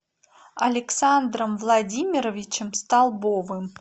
александром владимировичем столбовым